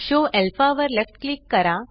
show alpha वर left click करा